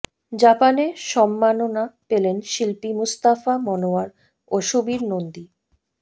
জাপানে সম্মাননা পেলেন শিল্পী মুস্তাফা মনোয়ার ও সুবীর নন্দী